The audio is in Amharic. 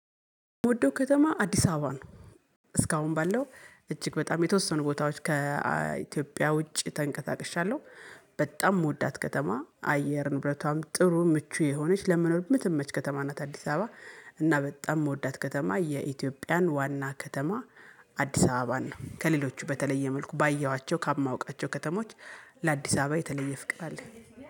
የምወደው ከተማ አዲስ አበባ ነው። እስካሁን ባለው እጅግ በጣም የተወሰኑ ቦታዎች ከኢትዮጵያ ውጪ ተንቀሳቅሻለሁ። በጣም የምወዳት ከተማ አየር ንብረቷም ጥሩ ምቹ የሆነች ለመኖር ምትመች ከተማ ናት አዲስ አበባ እና በጣም የምወዳት ከተማ የኢትዮጵያን ዋና ከተማ አዲስ አበባ ነው። ከሌሎቹ በተለየ መልኩ ባየኋቸው ከማወቃቸው ከተሞች ለአዲስ አበባ የተለየ ፍቅር አለኝ